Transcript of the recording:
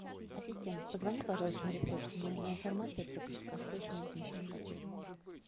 ассистент позвони пожалуйста на ресепшен мне нужна информация про краткосрочное размещение в отеле